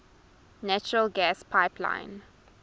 natural gas pipeline